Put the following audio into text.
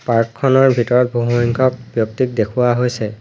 Park খনৰ ভিতৰত বহুসংখ্যক ব্যক্তিক দেখুৱা হৈছে।